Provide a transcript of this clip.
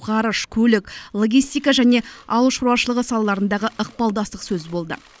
ғарыш көлік логистика және ауыл шаруашылығы салаларындағы ықпалдастық сөз болды